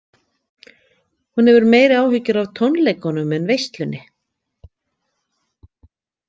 Hún hefur meiri áhyggjur af tónleikunum en veislunni.